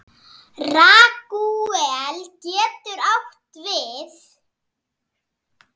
Ragúel getur átt við